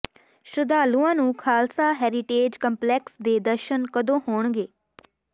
ਸ਼ਰਧਾਲੂਆਂ ਨੂੰ Khalsa heritage complex ਦੇ ਦਰਸ਼ਨ ਕਦੋਂ ਹੋਣਗੇ